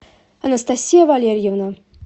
анастасия валерьевна